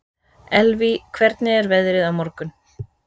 Elvý, hvernig er veðrið á morgun?